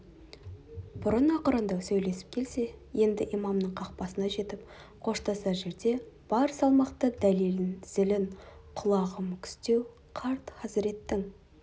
бұрын ақырындау сөйлесіп келсе енді имамның қақпасына жетіп қоштасар жерде бар салмақты дәлелін зілін құлағы мүкістеу қарт хазіреттің